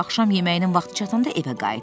Axşam yeməyinin vaxtı çatanda evə qayıtdı.